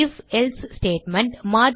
ifஎல்சே statement